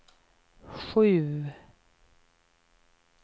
sju